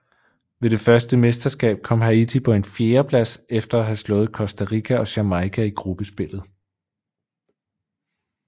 Ved det første mesterskab kom Haiti på en fjerdeplads efter at have slået Costa Rica og Jamaica i gruppespillet